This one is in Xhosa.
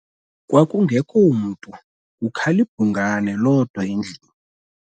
Kwakungekho mntu kukhal' ibhungane lodwa endlwini.